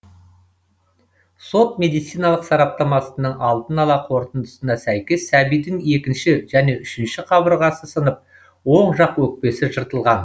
сот медициналық сараптамасының алдын ала қорытындысына сәйкес сәбидің екінші және үшінші қабырғасы сынып оң жақ өкпесі жыртылған